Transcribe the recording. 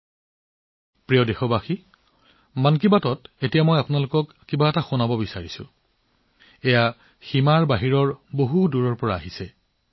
মোৰ মৰমৰ দেশবাসীসকল মন কী বাতত মই এতিয়া আপোনালোকক এনে এটা বিষয়ে কবলৈ গৈ আছোঁ যি সীমান্তৰ সিপাৰে বহু দূৰৰ পৰা আহিছে